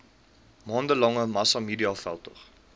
maande lange massamediaveldtog